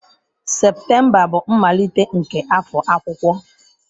Septemba bụ mmalite nke afọ akwụkwọ.